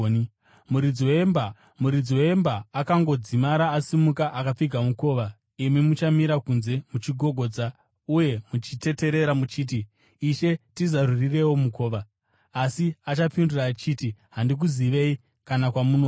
Muridzi wemba akangodzimara asimuka akapfiga mukova, imi muchamira kunze muchigogodza uye muchiteterera, muchiti, ‘Ishe, tizarurireiwo mukova.’ “Asi achapindura achiti, ‘Handikuzivei, kana kwamunobva.’